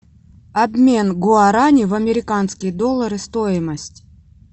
обмен гуарани в американские доллары стоимость